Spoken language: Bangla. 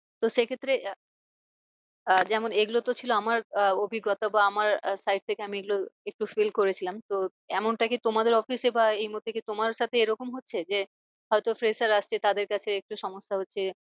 তো সে ক্ষেত্রে আহ যেমন এগুলো তো ছিল আমার আহ অভিজ্ঞতা বা আমার side থেকে আমি এগুলো একটু fill করেছিলাম তো এমনটা কি তোমাদের office এ বা এই মুহূর্তে কি তোমার সাথে এরম হচ্ছে? যে হয় তো fresher আসছে তাদের কাছে একটু সমস্যা হচ্ছে।